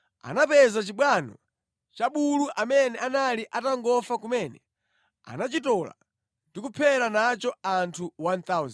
Anapeza chibwano cha bulu amene anali atangofa kumene. Anachitola ndi kuphera nacho anthu 1,000.